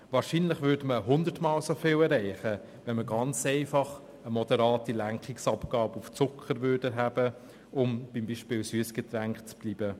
Wahrscheinlich würde hundertmal so viel erreicht, wenn ganz einfach eine Lenkungsabgabe auf Zucker erhoben würde, um beim Beispiel der Süssgetränke zu bleiben.